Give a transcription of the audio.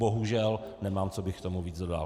(?) Bohužel nemám, co bych k tomu víc dodal.